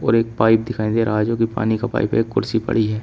और एक पाइप दिखाई दे रहा है जो कि पानी का पाइप है एक कुर्सी पड़ी है।